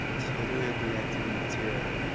тире блядь а не тере